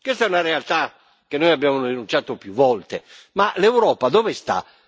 Questa è una realtà che noi abbiamo denunciato più volte, ma l'Europa dove sta?